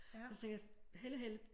Og så tænkte jeg Helle Helle